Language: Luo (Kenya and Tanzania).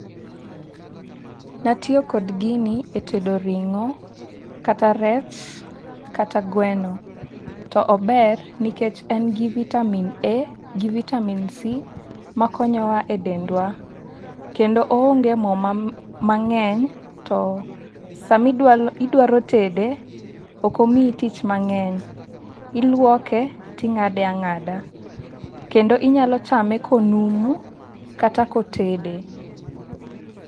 Natiyo kod gini e tedo ring'o, kata rech kata gweno. To ober nikech en gi vitamin A gi vitamin C makonyo wa e dendwa kendo oonge moo mang'eny. To sama idwa tede ok omiyi tich mang'eny iluoke ting'ade ang'ada kendo inyalo chame konumu kata kotede.